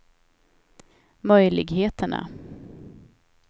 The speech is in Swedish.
möjligheterna